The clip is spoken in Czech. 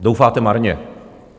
Doufáte marně.